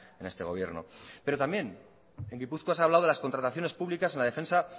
en este gobierno pero también en gipuzkoa se ha hablado de las contrataciones públicas en la defensa